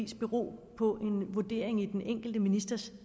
bero på en vurdering af den enkelte ministers